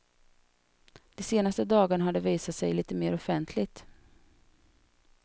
De senaste dagarna har de visat sig lite mer offentligt.